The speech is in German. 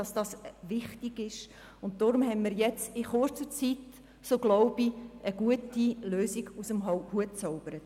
Daher haben wir zusammen mit der EVP in kurzer Zeit eine gute Lösung, so glaube ich, aus dem Hut gezaubert.